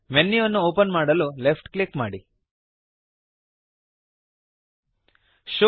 ಮೆನ್ಯುವನ್ನು open ಮಾಡಲು left click ಮಾಡಿರಿ